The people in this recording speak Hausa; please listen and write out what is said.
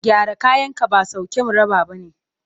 Gyara kayanka ba sauke mu raba ba ne.